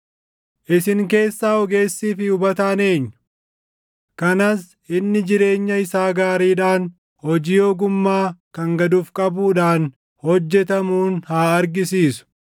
Isin keessaa ogeessii fi hubataan eenyu? Kanas inni jireenya isaa gaariidhaan, hojii ogummaa kan gad of qabuudhaan hojjetamuun haa argisiisu.